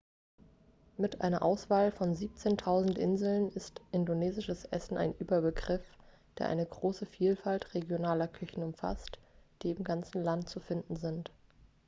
mit einer auswahl von 17.000 inseln ist indonesisches essen ein überbegriff der eine große vielfalt regionaler küchen umfasst die im ganzen land zu finden sind